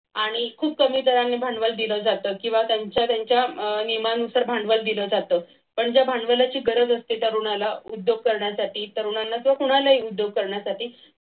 आणि खूप कमी दराने भांडवल दिलं जातं किंवा त्यांच्या त्यांच्या नियमानुसार भांडवल दिल जात पण त्या भांडवलाची गरज असते तरुणाला उद्योग करण्यासाठी तरुणाला जो कुणालाही उद्योग करण्यासाठी